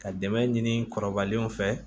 Ka dɛmɛ ɲini kɔrɔbalenw fɛ